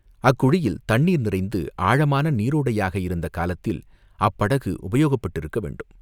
அக்குழியில் தண்ணீர் நிறைந்து ஆழமான நீரோடையாக இருந்த காலத்தில் அப்படகு உபயோகப்பட்டிருக்க வேண்டும்.